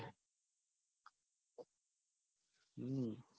હમ